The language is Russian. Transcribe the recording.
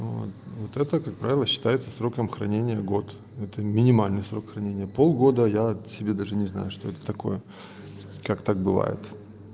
вот это как правило считается сроком хранения год это минимальный срок хранения полгода я тебе даже не знаю что это такое как так бывает